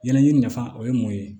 Ɲɛnaji nafa o ye mun ye